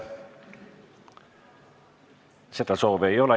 Seda soovi ei ole.